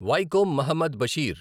Vaikom Muhammad Basheer